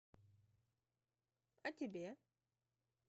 а тебе